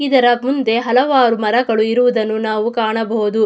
ಇದರ ಮುಂದೆ ಹಲವಾರು ಮರಗಳು ಇರುವುದನ್ನು ನಾವು ಕಾಣಬಹುದು.